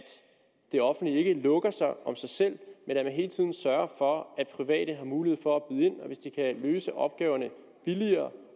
det offentlige ikke lukker sig om sig selv men at man hele tiden sørger for at private har mulighed for at og hvis de kan løse opgaverne billigere